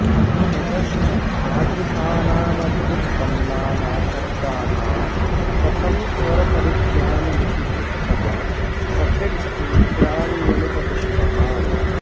ततश्च तादृशानामव्युत्पन्नाना शब्दानां कथं स्वरपरिज्ञानमिति पृष्टः स फिट् सूत्राण्यप्युपदिष्टवान्